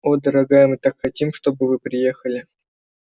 о дорогая мы так хотим чтобы вы приехали